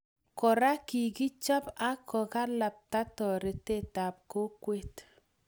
Kora, kikochab ak kokalapta toretet ab kokwet